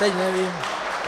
Teď nevím -